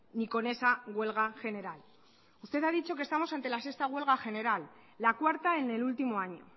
ni con esa huelga general usted ha dicho que estamos ante la sexta huelga general la cuarta en el último año